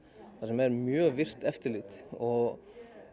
þar sem er mjög virkt eftirlit og